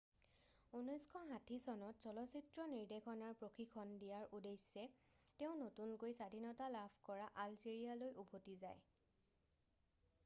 1960 চনত চলচ্চিত্ৰ নিৰ্দেশনাৰ প্ৰশিক্ষণ দিয়াৰ উদ্দেশ্যে তেওঁ নতুনকৈ স্বাধীনতা লাভ কৰা আলজেৰিয়ালৈ উভতি যায়